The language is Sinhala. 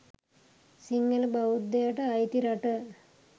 සිංහල බෞද්ධයට අයිති රට